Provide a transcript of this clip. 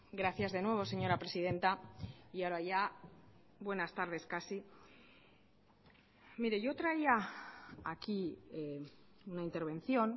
gracias de nuevo señora presidenta y ahora ya buenas tardes casi mire yo traía aquí una intervención